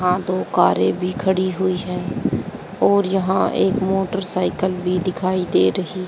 यहां दो कारे भी खड़ी हुई है और यहां एक मोटरसाइकल भी दिखाई दे रही--